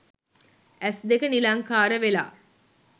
ඇස් දෙක නිලංකාර වෙලා